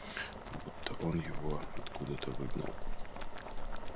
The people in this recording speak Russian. будто он его откуда-то выгнал